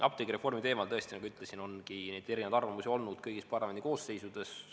Apteegireformi teemal, tõesti, nagu ütlesin, ongi erinevaid arvamusi olnud kõigis parlamendikoosseisudes.